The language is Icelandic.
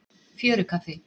Fjörukaffi